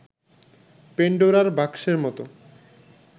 পেন্ডোরার বাক্সের মতো